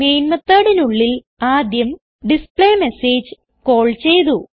main methodനുള്ളിൽ ആദ്യം display message call ചെയ്തു